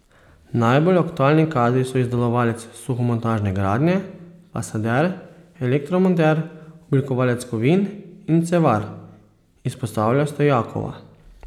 Najbolj aktualni kadri so izdelovalec suhomontažne gradnje, fasader, elektromonter, oblikovalec kovin in cevar, izpostavlja Stojakova.